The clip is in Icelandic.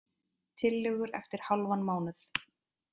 Tillögur eftir hálfan mánuð